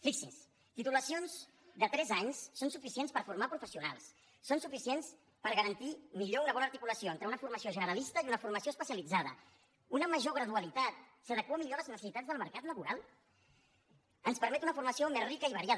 fixin se titulacions de tres anys són suficients per a formar professionals són suficients per a garantir millor una bona articulació entre una formació generalista i una formació especialitzada una major gradualitat s’adequa millor a les necessitats del mercat laboral ens permet una formació més rica i variada